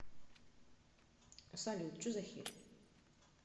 салют че за херь